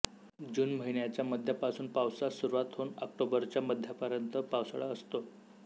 जून महिन्याच्या मध्यापासून पावसास सुरुवात होऊन ऑक्टोबरच्या मध्यापर्यंत पावसाळा असतो